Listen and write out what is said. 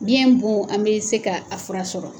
Biyɛn bon, an bɛ se k'a fura sɔrɔ.